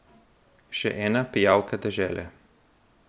Še ena pijavka dežele.